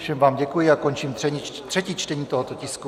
Všem vám děkuji a končím třetí čtení tohoto tisku.